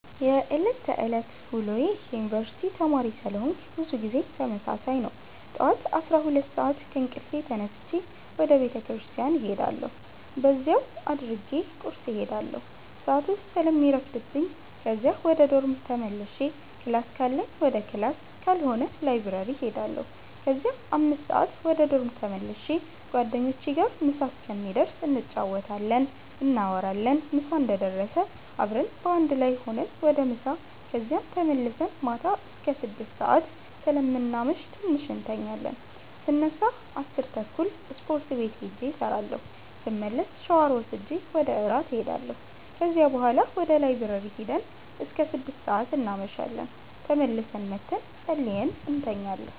የዕለት ተዕለት ውሎዬ የዩነኒቨርስቲ ተማሪ ስለሆነኩ ብዙ ጊዜ ተመሳሳይ ነው። ጠዋት 12:00 ሰአት ከእንቅልፌ ተነስቼ ወደ ቤተክርስቲያን እሄዳለሁ በዚያው አድርጌ ቁርስ እሄዳለሁ ሰአቱ ስለሚረፍድብኝ ከዚያ ወደ ዶርም ተመልሼ ክላስ ካለኝ ወደ ክላስ ካልሆነ ላይብረሪ እሄዳለሁ ከዚያ 5:00 ወደ ዶርም ተመልሼ ጓደኞቼ ጋር ምሳ እስከሚደርስ እንጫወታለን፣ እናወራለን ምሳ እንደደረሰ አብረን በአንድ ላይ ሁነን ወደ ምሳ ከዚያም ተመልሰን ማታ አስከ 6:00 ሰአት ስለምናመሽ ትንሽ እንተኛለን ስነሳ 10:30 ስፖርት ቤት ሂጄ እሰራለሁ ስመለስ ሻወር ወስጄ ወደ እራት እሄዳለሁ ከዚያ ቡሀላ ወደ ላይብረሪ ሂደን እስከ 6:00 እናመሻለን ተመልሰን መተን ፀልየን እንተኛለን።